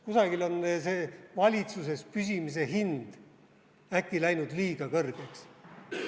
Kusagil on see valitsuses püsimise hind äkki läinud liiga kõrgeks.